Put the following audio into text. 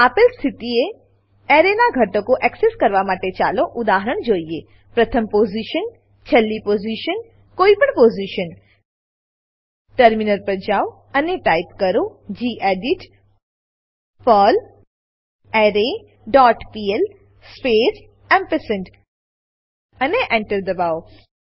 આપેલ સ્થિતિએ એરેનાં ઘટકો એક્સેસ કરવા માટે ચાલો ઉદાહરણ જોઈએ પ્રથમ પોઝિશન છેલ્લી પોઝિશન કોઈપણ પોઝિશન ટર્મિનલ પર જાવ અને ટાઈપ કરો ગેડિટ પર્લરે ડોટ પીએલ સ્પેસ એમ્પરસેન્ડ અને Enter દબાવો